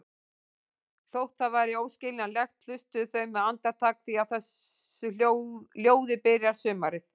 Þótt það væri óskiljanlegt, hlustuðu þau með andakt því á þessu ljóði byrjar sumarið.